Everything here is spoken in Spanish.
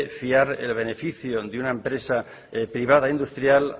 fiar el beneficio de una empresa privada industrial